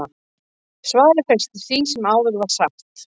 svarið felst í því sem áður var sagt